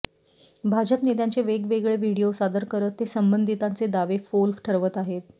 भाजप नेत्यांचे वेगवेगळे व्हिडीओ सादर करत ते संबंधितांचे दावे फोल ठरवत आहेत